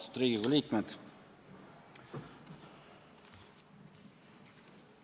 Austatud Riigikogu liikmed!